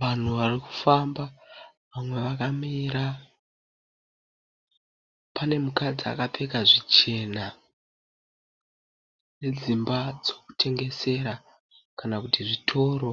Vanhu varikufamba mumwe vakamira. Pane mukadzi akapfeka zvichena nedzimba dzekutengesera kana kuti zvitoro.